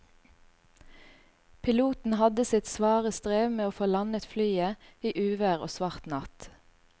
Piloten hadde sitt svare strev med å få landet flyet i uvær og svart natt.